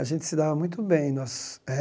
A gente se dava muito bem. Nossos eh